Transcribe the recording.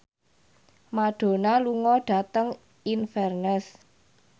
Madonna lunga dhateng Inverness